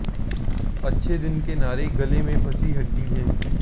अच्छे दिन के नारे गले में फंसी हड्डी हैं